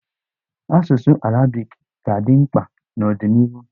Asụsụ arabiki ga-adị mkpa n'ọdịnịhu.